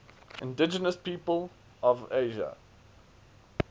indigenous peoples of asia